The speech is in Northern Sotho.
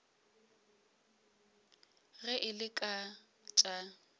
ge e le ka tša